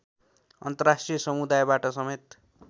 अन्तर्राष्ट्रिय समुदायबाट समेत